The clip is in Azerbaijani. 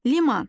Liman.